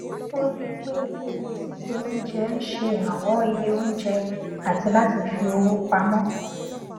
ó rí i pé ìpele síse oúnjẹ n ṣe ìrànwọ iye oùnjẹ àti láti fi owó pamọ